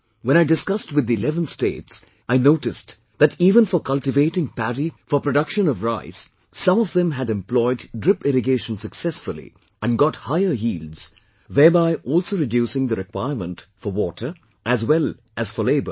When I discussed with the eleven states, I noticed that even for cultivating paddy for production of rice, some of them had employed drip irrigation successfully and got higher yields, thereby also reducing the requirement for water as well as for labour